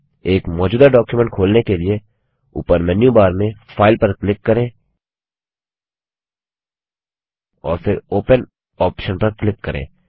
एक मौजूदा डॉक्युमेंट खोलने के लिए ऊपर मेन्यूबार में फाइल पर क्लिक करें और फिर ओपन ऑप्शन पर क्लिक करें